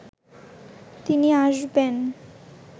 তিনি আসবেন